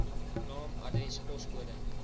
naam adres poskode